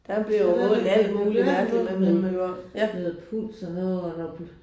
Der bliver jo målt alt muligt mærkeligt mellem himmel og jord ja